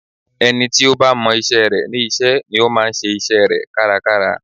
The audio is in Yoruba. Ẹni tí ó bá mọ isẹ́ rẹ̀ ní iṣẹ́ ni ó máa ń ṣe isẹ́ rẹ̀ kárakára